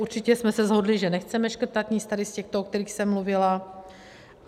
Určitě jsme se shodli, že nechceme škrtat nic tady z těchto, o kterých jsem mluvila.